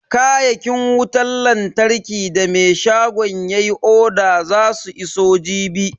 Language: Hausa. Kayakin wutan lantarkin da me shagon yayi oda zasu iso jibi.